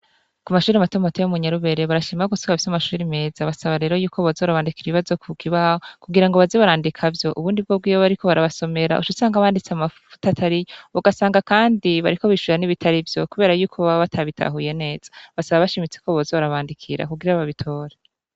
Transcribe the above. Kumashure matomato yo munyarubere barashima gose ko bafise amashure meza. Basaba rero yuko boza barabandikira ibibazo kukibaho kugirango baze barandika vyo. Ubundi bwobwo iyo bariko barabasomera ucusanga banditse amafuti atariyo, ugasanga kandi bariko bishura n'ibitari vyo kubera yuko baba batabitahuye neza. Basaba bashimitse ko boza barabandikira kugira babitore